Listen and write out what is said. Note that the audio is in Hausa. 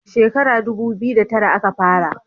Shekara dubu biyu da tara a ka fara